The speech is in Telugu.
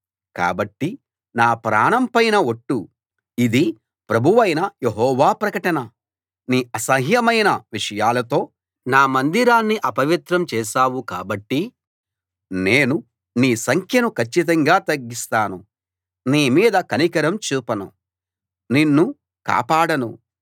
కాబట్టి నా ప్రాణం పైన ఒట్టు ఇది ప్రభువైన యెహోవా ప్రకటన నీ అసహ్యమైన విషయాలతో నా మందిరాన్ని అపవిత్రం చేశావు కాబట్టి నేను నీ సంఖ్యను కచ్చితంగా తగ్గిస్తాను నీ మీద కనికరం చూపను నిన్ను కాపాడను